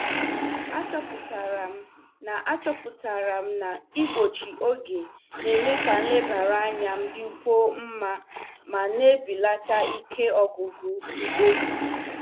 Achọpụtara m na Achọpụtara m na igbochi oge na-eme ka nlebara anya m dịkwuo mma ma na-ebelata ike ọgwụgwụ mkpebi.